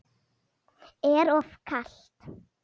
Er of kalt.